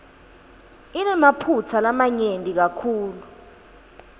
inemaphutsa lamanyenti kakhulu